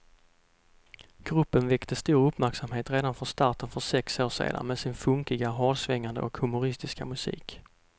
Gruppen väckte stor uppmärksamhet redan från starten för sex år sedan med sin funkiga, hårdsvängande och humoristiska musik.